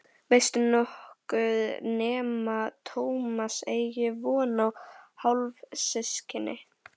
Veistu nokkuð nema Tómas eigi von á hálfsystkini?